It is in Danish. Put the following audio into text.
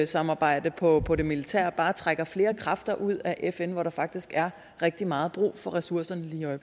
samarbejde på på det militære bare trækker flere kræfter ud af fn hvor der faktisk er rigtig meget brug for ressourcerne lige